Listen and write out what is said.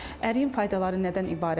Əriyin faydaları nədən ibarətdir?